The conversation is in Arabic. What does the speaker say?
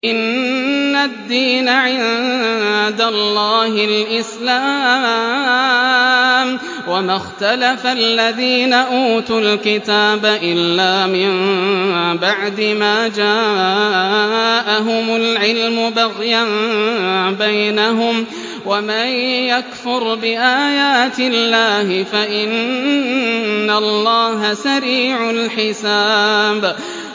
إِنَّ الدِّينَ عِندَ اللَّهِ الْإِسْلَامُ ۗ وَمَا اخْتَلَفَ الَّذِينَ أُوتُوا الْكِتَابَ إِلَّا مِن بَعْدِ مَا جَاءَهُمُ الْعِلْمُ بَغْيًا بَيْنَهُمْ ۗ وَمَن يَكْفُرْ بِآيَاتِ اللَّهِ فَإِنَّ اللَّهَ سَرِيعُ الْحِسَابِ